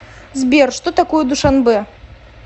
сбер что такое душанбе